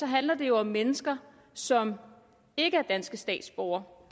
handler det jo om mennesker som ikke er danske statsborgere